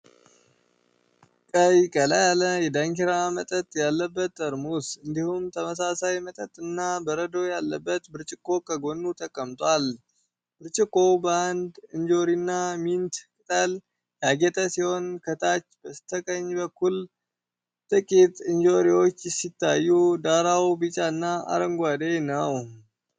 ቀይ ቀላ ያለ የዳንኪራ መጠጥ ያለበት ጠርሙስ፣ እንዲሁም ተመሳሳይ መጠጥና በረዶ ያለበት ብርጭቆ ከጎኑ ተቀምጧል። ብርጭቆው በአንድ እንጆሪና ሚንት ቅጠል ያጌጠ ሲሆን፣ ከታች በስተቀኝ በኩል ጥቂት እንጆሪዎች ሲታዩ፣ ዳራው ቢጫና አረንጓዴ ነው።